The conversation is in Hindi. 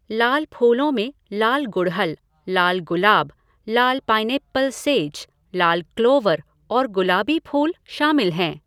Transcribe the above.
लाल फूलों में लाल गुड़हल, लाल गुलाब, लाल पाइनएप्पल सेज, लाल क्लोवर और गुलाबी फूल शामिल हैं।